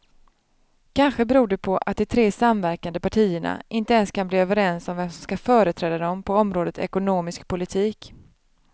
Kanske beror det på att de tre samverkande partierna inte ens kan bli överens om vem som ska företräda dem på området ekonomisk politik.